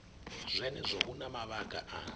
zwenezwo hu na mavhaka a